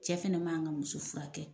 Cɛ fɛnɛ ma kan muso furakɛ.